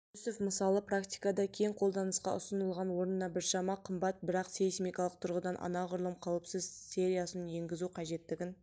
жүнісов мысалы практикада кең қолданысқа ұсынылған орнына біршама қымбат бірақ сейсмикалық тұрғыдан анағұрлым қауіпсіз сериясын енгізу қажеттігін